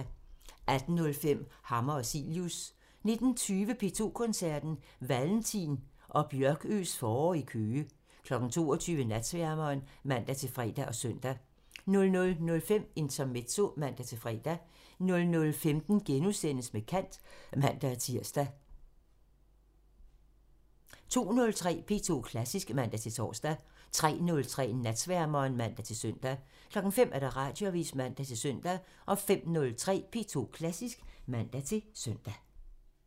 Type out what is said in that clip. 18:05: Hammer og Cilius (man) 19:20: P2 Koncerten – Valentin og Bjørkøes forår i Køge 22:00: Natsværmeren (man-fre og søn) 00:05: Intermezzo (man-fre) 00:15: Med kant *(man-tir) 02:03: P2 Klassisk (man-tor) 03:03: Natsværmeren (man-søn) 05:00: Radioavisen (man-søn) 05:03: P2 Klassisk (man-søn)